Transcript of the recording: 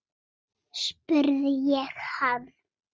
spurði ég hann.